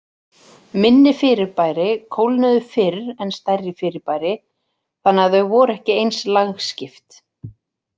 Minni fyrirbæri kólnuðu fyrr en stærri fyrirbæri, þannig að þau voru ekki eins lagskipt.